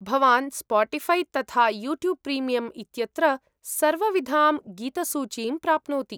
भवान् स्पोटीफ़ै तथा YouTube premium इत्यत्र सर्वविधां गीतसूचीं प्राप्नोति।